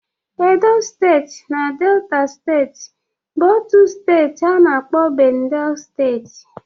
Edo steeti na Dela steeti bụ otu steeti a na-akpọ Bendel steeti